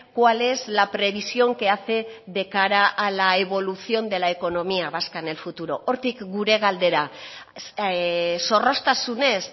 cuál es la previsión que hace de cara a la evolución de la economía vasca en el futuro hortik gure galdera zorroztasunez